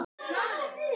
Hún á sex börn.